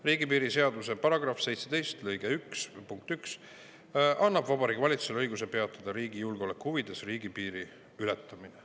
Riigipiiri seaduse § 17 lõike 1 punkt 1 annab Vabariigi Valitsusele õiguse riigi julgeoleku huvides peatada riigipiiri ületamine.